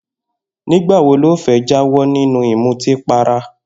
Nígbà wo lo fé̩ jáwó̩ nínú ìmutípara?